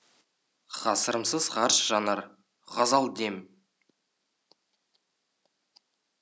ғасырымсыз ғарыш жанар ғазал дем